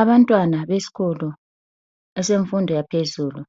Abantwana besikolo esemfundo yaphezulu.